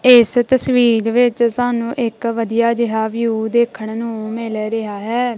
ਇਸ ਤਸਵੀਰ ਵਿੱਚ ਸਾਨੂੰ ਇੱਕ ਵਧੀਆ ਜਿਹਾ ਵਿਊ ਦੇਖਣ ਨੂੰ ਮਿਲ ਰਿਹਾ ਹੈ।